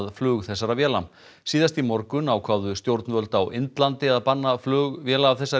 flug þessara véla síðast í morgun ákváðu stjórnvöld á Indlandi að banna flug véla af þessari